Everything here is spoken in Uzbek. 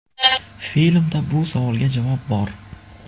Filmda bu savolga javob bor.